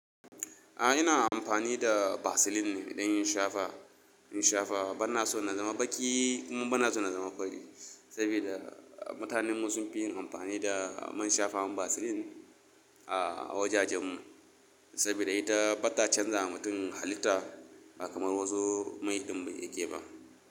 A'a ina amfani da Vaseline ne don in shafa, in shafa. Bana so na zama baƙi kuma bana so na zama fari sabida mutanenmu sun fi yin amfani da man shafawar Vaseline a wajajenmu sabida ita bata canzawa mutum halitta ba kamar wasu mai din yake ba.